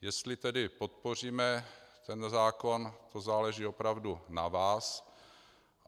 Jestli tedy podpoříme tento zákon, to záleží opravdu na vás.